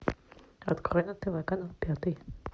открой на тв канал пятый